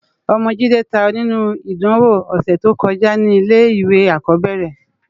Òmò Jide tàáyò ninú idánwó òsètókójá ni ilé iwé ákòbèrè rè